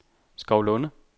Skovlunde